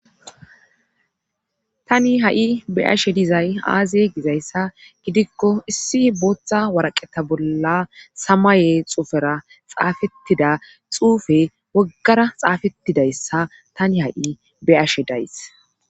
Tani ha7i be ashe dizay aaze gizayssa gidikko issi booththa waraqeta bolla samaye xuufera xaafettida xuufe waggara xaafettidayssa tani ha7i beashe days